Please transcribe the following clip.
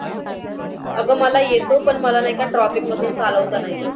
आग मला येतो पण मला नाहीका traffic मधुन चालवता नाही येत.